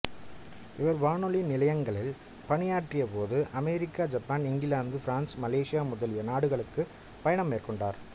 இவர் வானொலி நிலையங்களில் பணியாற்றியபோது America Japan England France Malaysia முதலிய நாடுகளுக்குப் பயணம் மேற்கொண்டார்